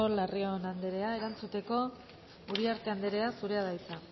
larrion anderea erantzuteko uriarte anderea zurea da hitza